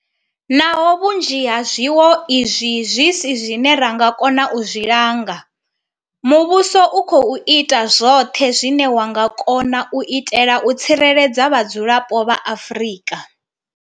Naho vhunzhi ha zwiwo izwi zwi si zwine ra nga kona u zwi langa, muvhuso u khou ita zwoṱhe zwine wa nga kona u itela u tsireledza vhadzulapo vha Afrika.